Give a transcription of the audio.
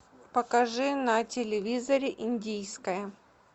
покажи на телевизоре индийское